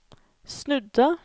snudde